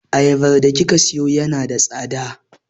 Ayabar da kika sayo yana da tsada.